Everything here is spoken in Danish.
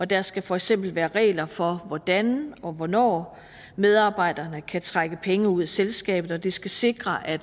der skal for eksempel være regler for hvordan og hvornår medarbejderne kan trække penge ud af selskabet det skal sikre at